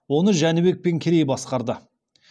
оны жәнібек пен керей басқарды